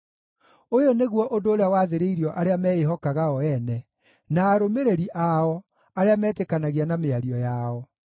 Ũyũ nĩguo ũndũ ũrĩa wathĩrĩirio arĩa meĩhokaga o ene, na arũmĩrĩri ao, arĩa metĩkanagia na mĩario yao.